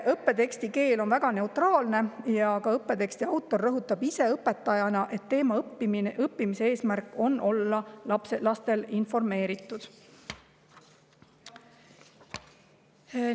Õppeteksti keel on väga neutraalne ja õppeteksti autor ka ise õpetajana rõhutab, et teema õppimise eesmärk on see, et lapsed oleksid informeeritud.